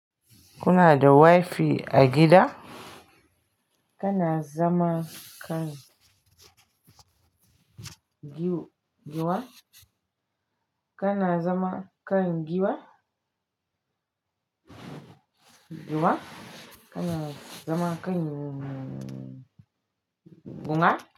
Kuna da wifi a gida? Kana zama kan giwa? Kana zama kan giwa? Giwa? Kana zama kan guna?